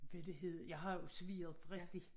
Hvad det hed jeg har jo serveret for rigtig